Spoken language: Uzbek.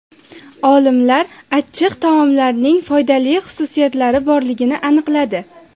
Olimlar achchiq taomlarning foydali xususiyatlari borligini aniqladi.